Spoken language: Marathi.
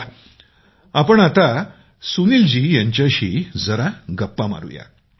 या आपण आता सुनील जी यांच्याशी जरा गप्पा मारू या